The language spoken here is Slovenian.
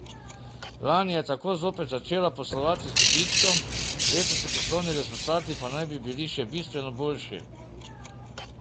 Lani je tako zopet začela poslovati z dobičkom, letošnji poslovni rezultati pa naj bi bili še bistveno boljši.